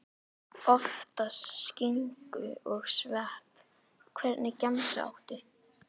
Oftast skinku og svepp Hvernig gemsa áttu?